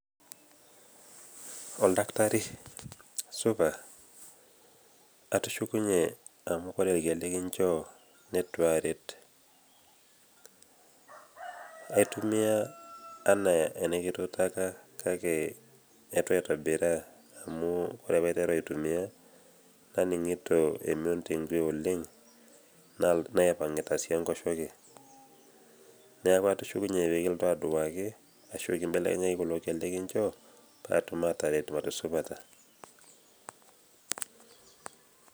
Oldakitari supa, atushukunyie amo ore tenikinjoo nitu aaret. Aitumia enaa enekituutaka kake eitu aitobiraa amu ore pee aiteru aitumia naning`ito emion oleng naipang`ita sii enkoshoke. Niaku atushukunyie pee kilotu aitoduaki ashu kimbelekenyaki kulo kiek likinchoo paa atum aatareto arashu pata.